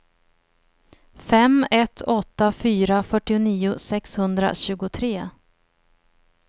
fem ett åtta fyra fyrtionio sexhundratjugotre